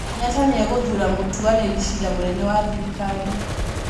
Kenyatta nĩ egũthuura mũtuanĩri cira munene wa thirikari